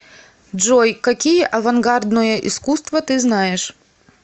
джой какие авангардное искусство ты знаешь